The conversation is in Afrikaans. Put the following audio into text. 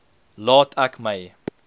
laat ek my